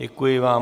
Děkuji vám.